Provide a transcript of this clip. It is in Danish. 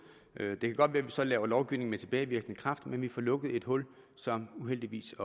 det kan godt være at vi så laver lovgivning med tilbagevirkende kraft men vi får lukket et hul som uheldigvis